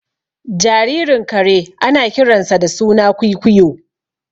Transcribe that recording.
Jaririn kare ana kiransa da suna kwuikuyo